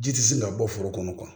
Ji tɛ se ka bɔ foro kɔnɔ